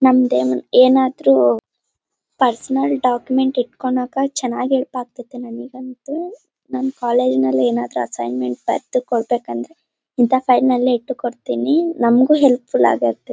ನಮ್ದ್ ಏನ್ ಏನಾದ್ರು ಪರ್ಸನಲ್ ಡಾಕ್ಯುಮೆಂಟ್ ಇಟ್ಕೋನಕ ಚೆನ್ನಾಗ್ ಹೆಲ್ಪ್ ಆಗತೈತಿ ನಂಗಂತೂ. ನನ್ ಕಾಲೇಜ್ ಅಲ್ಲಿ ಏನಾದ್ರು ಅಸೈನ್ಮೆಂಟ್ ಬರ್ದು ಕೊಡಬೇಕಂದ್ರು ಇಂತ ಫೈಲ್ನಲ್ಲಿ ಇತ್ತು ಕೊಡ್ತೀನಿ ನಂಗೂ ಹೆಲ್ಪ್ ಫುಲ್ ಆಗುತ್ತೆ.